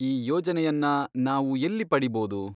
ಈ ಯೋಜನೆಯನ್ನ ನಾವು ಎಲ್ಲಿ ಪಡೀಬೋದು?